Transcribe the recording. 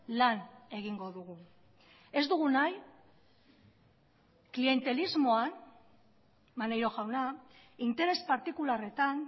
lan egingo dugu ez dugu nahi klientelismoan maneiro jauna interes partikularretan